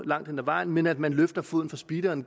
langt hen ad vejen men at man løfter foden fra speederen